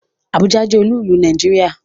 Àbújá jẹ́ olú ìlú Nàìjíríà